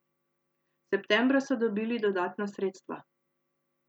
Septembra so dobili dodatna sredstva.